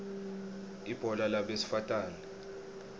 ibhola labesifatane